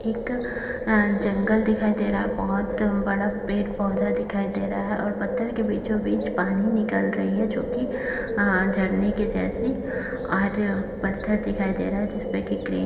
एक जंगल दिखाई दे रहा है बहुत बड़ा पेड़-पौधा दिखाई दे रहा है और पत्थर के बीचों-बीच पानी निकल रही है जो की झरने के जैसे और पत्थर दिखाई दे रहा है। जिस पर की --